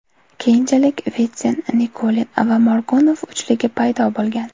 Keyinchalik Vitsin, Nikulin va Morgunov uchligi paydo bo‘lgan.